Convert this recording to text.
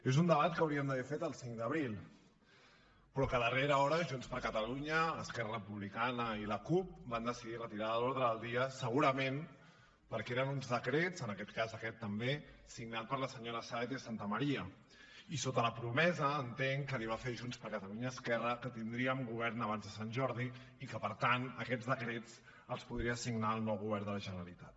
és un debat que hauríem d’haver fet el cinc d’abril però que a darrera hora junts per catalunya esquerra republicana i la cup van decidir retirar de l’ordre del dia segurament perquè eren uns decrets en aquest cas aquest també signats per la senyora sáenz de santamaría i sota la promesa entenc que li va fer junts per catalunya a esquerra que tindríem govern abans de sant jordi i que per tant aquests decrets els podria signar el nou govern de la generalitat